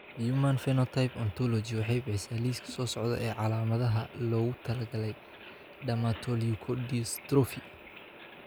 The Human Phenotype Ontology waxay bixisaa liiska soo socda ee calaamadaha iyo calaamadaha loogu talagalay Dermatoleukodystrophy.